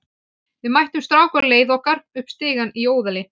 Við mættum strák á leið okkar upp stigann í Óðali.